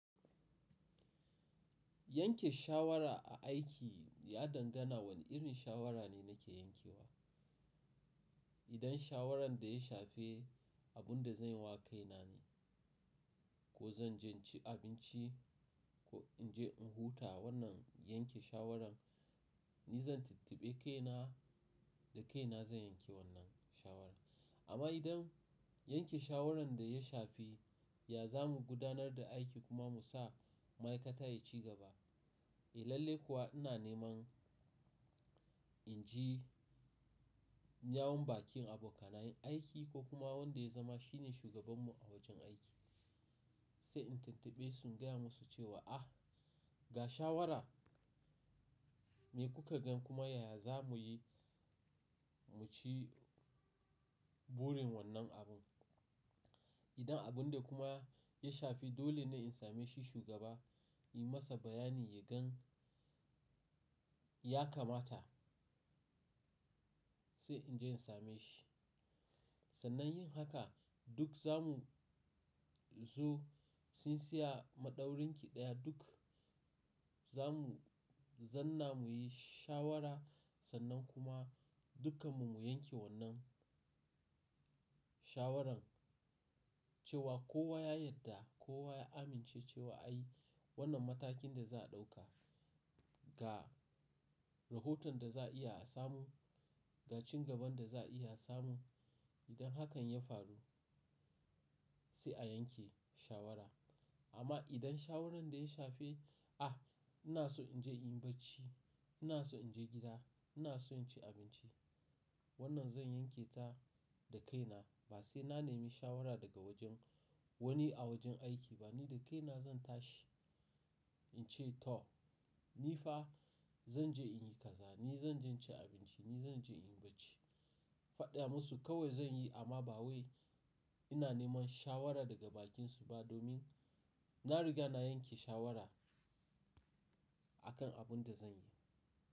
Yanke shawara a aiki ya dangana wane irin shawara ne nake yankewa. Idan shawaran da ya shafe abun da zan yi wa kaina ne, ko zan je ci abinci ko in je in huta wannan yanke shawaran ni zan tittaɓe kaina da kaina zan yanke wannan shawaran. Amma idan yanke shawaran da ya shafe ya za mu gudanar da aiki kuma mu sa ma'aikata ya ci gaba. Eh lalai kuwa ina neman in ji in yawon bakin abokanai aiki ko kuma wanda ya zama shine shugaban mu a wajen aiki. Sai in tattaɓe shi in gaya musu cewa ah ga shawara me kuka gan kuma yaya za mu yi mu ci burin wannan abun. Idan abun dai kuma ya shafe dole ne in same shi shugaba, yi masa bayani ya gan ya kamata sai in je in same shi. Sannan yin haka duk za mu zo sun siya maɗaurin su daya duk za mu zauna mu yi shawara sannan kuma dukkan mu mu yanke wannan shawaran cewa kowa ya yadda kowa ya amince cewa a i wannan matakin ne za a ɗauka ga rahoton da za a iya a samu, ga ci gaban da za a iya samu idan hakan ya faru sai a yanke shawara. Amma idan shawaran da ya shafe ah ina so in je in yi bacci, ina so in je gida, ina so in ci abinci wannan zan yanketa da kaina ba sai na nemi shawara daga wajen wani a wajen aiki ba ni da kaina zan tashi in ce to ni fa zan je in yi kaza, ni zan je in ci abinci, ni zan je in yi bacci. Faɗa musu kawai zan yi amma ba wai ina neman shawara daga bakinsu ba domin na riga na yanke shawara a kan abun da zan yi.